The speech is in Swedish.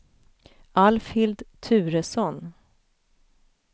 Alfhild Turesson